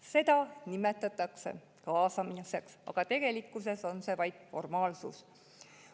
Seda nimetatakse kaasamiseks, aga tegelikkuses on see vaid formaalsus.